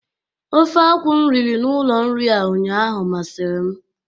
Ofe akwụ m riri n'ụlọ nri a ụnyaahụ masịrị m.